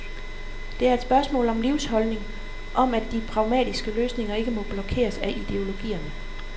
Det er et spørgsmål om livsholdning, om at de pragmatiske løsninger ikke må blokeres af ideologierne.